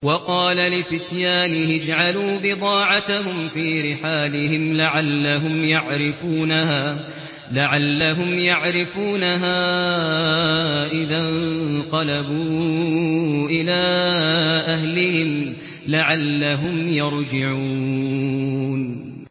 وَقَالَ لِفِتْيَانِهِ اجْعَلُوا بِضَاعَتَهُمْ فِي رِحَالِهِمْ لَعَلَّهُمْ يَعْرِفُونَهَا إِذَا انقَلَبُوا إِلَىٰ أَهْلِهِمْ لَعَلَّهُمْ يَرْجِعُونَ